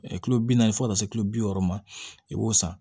kilo bi naani fo ka taa se kilo bi wɔɔrɔ ma i b'o san